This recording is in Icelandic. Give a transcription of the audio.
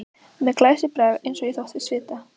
Með glæsibrag eins og ég þóttist vita.